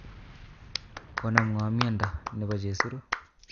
Konam ngo' miondo nebo chesiru